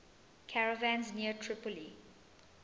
caravans near tripoli